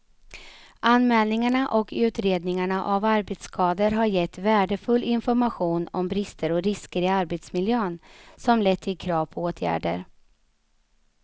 Anmälningarna och utredningarna av arbetsskador har gett värdefull information om brister och risker i arbetsmiljön som lett till krav på åtgärder.